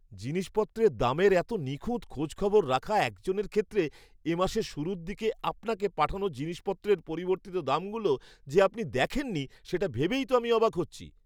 জিনিসপত্রের দামের এত নিখুঁত খোঁজখবর রাখা একজনের ক্ষেত্রে, এ মাসের শুরুর দিকে আপনাকে পাঠানো জিনিসপত্রের পরিবর্তিত দামগুলো যে আপনি দেখেননি সেটা ভেবেই তো আমি অবাক হচ্ছি!